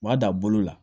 U b'a da bolo la